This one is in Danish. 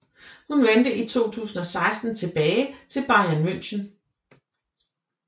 Hun vendte i 2016 tilbage til Bayern München